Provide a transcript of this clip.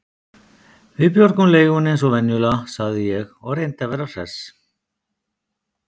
Við björgum leigunni eins og venjulega sagði ég og reyndi að vera hress.